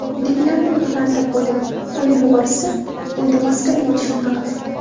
Uydagilarni ogohlantirib qo‘ydim, qo‘yib yuborishsa, uyda maskada yurishim haqida.